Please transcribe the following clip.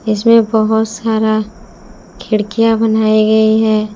इसमें बहुत सारा खिड़कियां बनाई गई हैं।